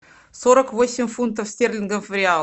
сорок восемь фунтов стерлингов в реал